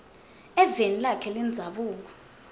eveni lakhe lendzabuko